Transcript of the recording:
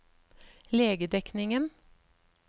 legedekningen